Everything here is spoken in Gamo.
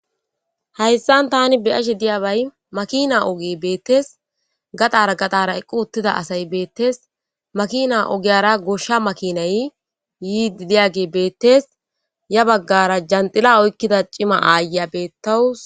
hayssan tani beyashe diyabay makina oge beettes gaxara gaxara eqqu uttida asay beettes makina ogiyara goshsha makinay yiii diyage beettes ya baggara janxila oykkida cima aaya beettawus